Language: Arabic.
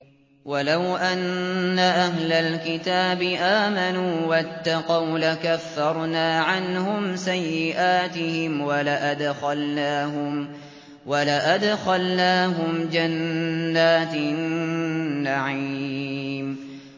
وَلَوْ أَنَّ أَهْلَ الْكِتَابِ آمَنُوا وَاتَّقَوْا لَكَفَّرْنَا عَنْهُمْ سَيِّئَاتِهِمْ وَلَأَدْخَلْنَاهُمْ جَنَّاتِ النَّعِيمِ